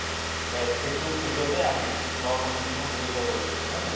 এহ সেইটো খোজতে আমি নৱপ্ৰজন্মক লৈ যাব লাগিব, নহয় জানো?